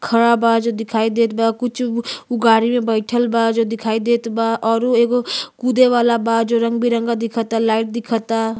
खड़ा बा जो दिखाई देत बा। कुछ उ गाड़ी में बईठल बा जो दिखाई देत बा औरु एगो कूदे वाला बा जो रंग बिरंगा दिखता। लाइट दिखता।